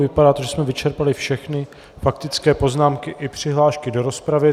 Vypadá to, že jsme vyčerpali všechny faktické poznámky i přihlášky do rozpravy.